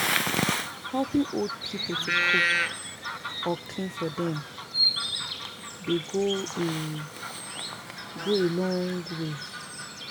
Helping old pipo to dey cook or clean for dem dey go a go a long way.